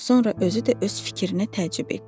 Sonra özü də öz fikrinə təəccüb etdi.